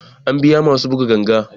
Za a biya masu buga ganga